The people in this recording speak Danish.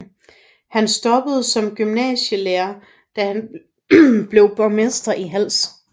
Han stoppede som gymnasielærer da han blev borgmester i Hals